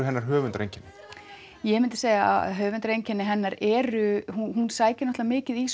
hennar höfundareinkenni ég myndi segja að höfundareinkenni hennar eru hún sækir náttúrulega mikið í